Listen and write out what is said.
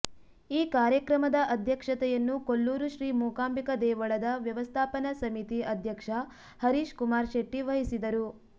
ಈ ಕಾರ್ಯಕ್ರಮದ ಅಧ್ಯಕ್ಷತೆಯನ್ನು ಕೊಲ್ಲೂರು ಶ್ರೀ ಮೂಕಾಂಬಿಕಾ ದೇವಳದ ವ್ಯವಸ್ಥಾಪನಾ ಸಮಿತಿ ಅಧ್ಯಕ್ಷ ಹರೀಶ್ ಕುಮಾರ್ ಶೆಟ್ಟಿ ವಹಿಸಿದರು